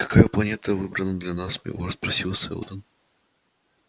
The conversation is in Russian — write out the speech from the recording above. какая планета выбрана для нас милорд спросил сэлдон